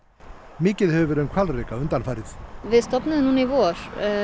mikið hefur verið um hvalreka undanfarið við stofnuðum núna í vor